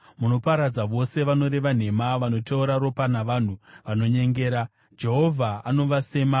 Munoparadza vose vanoreva nhema; vanoteura ropa navanhu vanonyengera, Jehovha anovasema.